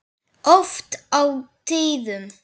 Oft á tíðum.